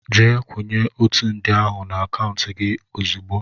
Jee kwúnye ọtu nde ahụ n' akauntu gị ozigbo!!!!!